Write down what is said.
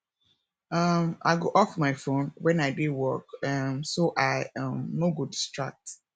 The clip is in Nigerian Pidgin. um i go off my phone when i dey work um so i um no go distract